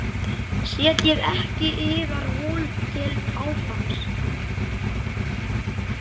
Setjið ekki yðar von til páfans.